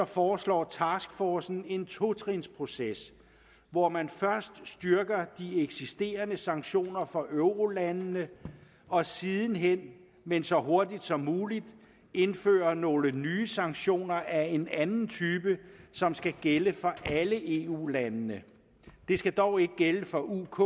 foreslår taskforcen en totrinsproces hvor man først styrker de eksisterende sanktioner for eurolandene og siden hen men så hurtigt som muligt indfører nogle nye sanktioner af en anden type som skal gælde for alle eu landene de skal dog ikke gælde for uk